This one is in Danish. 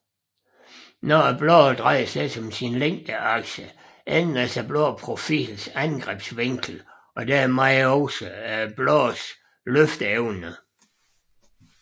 Når bladet drejes lidt om sin længdeakse ændres bladprofilens angrebsvinkel og dermed også bladets løfteevne